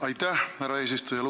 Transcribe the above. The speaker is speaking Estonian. Aitäh, härra eesistuja!